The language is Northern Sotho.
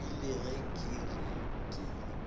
rile ge ke re ke